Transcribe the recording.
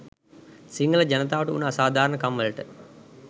සිංහල ජනතාවට උන අසාධාරණ කම් වලට